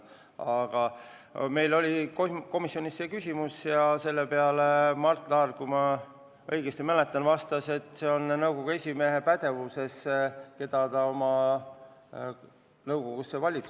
Aga meil oli komisjonis tõesti see küsimus ja selle peale Mart Laar, kui ma õigesti mäletan, vastas, et see on nõukogu esimehe otsustada, kelle ta oma nõukogusse valib.